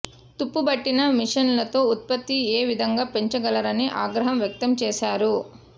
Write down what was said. తుప్పుబట్టిన మిషన్లతో ఉత్పత్తి ఏ విధంగా పెంచగలరని ఆగ్రహం వ్యక్తం చేశారు